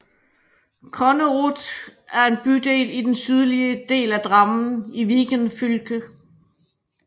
Konnerud er en bydel i den sydlige del af Drammen i Viken fylke